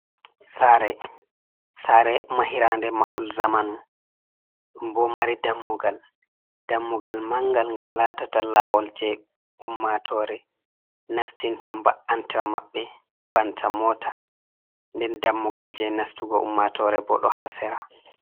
Saare, saare mahade mahol zamanu bo mari dammugal, dammugal mangal, ngal latata lawol je ummatore nastina ba’antawa maɓɓe, banta mota, nden dammugal je nastugo ummatore bo ɗo ha sera..